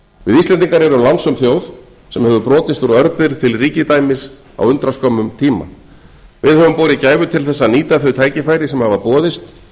við íslendingar erum lánsöm þjóð sem hefur brotist úr örbirgð til ríkidæmis á undraskömmum tíma við höfum borið gæfu til þess að nýta þau tækifæri sem hafa boðist